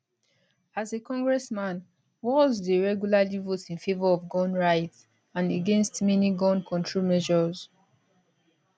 as a congressman walz dey regularly vote in favour of gun rights and against many gun control measures